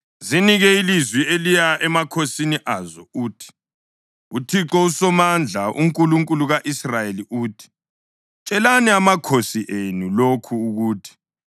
Zinike ilizwi eliya emakhosini azo uthi, ‘ UThixo uSomandla, uNkulunkulu ka-Israyeli uthi: Tshelani amakhosi enu lokhu ukuthi: